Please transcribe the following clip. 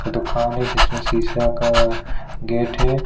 -- ख दुकान है जिसमें शीशा का गेट है।